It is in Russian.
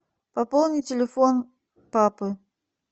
пополни телефон папы